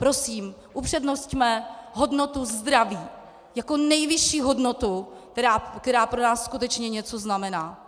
Prosím, upřednosťme hodnotu zdraví jako nejvyšší hodnotu, která pro nás skutečně něco znamená.